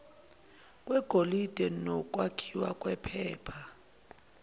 kwegolide nokwakhiwa kwephepha